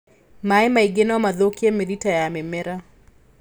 Maĩ maingĩ nomathũkie mĩrita ya mĩmera.